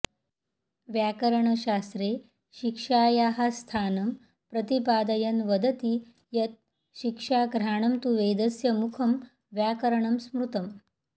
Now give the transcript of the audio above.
व्याकरणशास्त्रे शिक्षायाः स्थानं प्रतिपादयन् वदति यत् शिक्षा घ्राणं तु वेदस्य मुखं व्याकरणं स्मृतम्